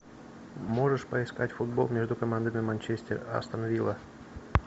можешь поискать футбол между командами манчестер астон вилла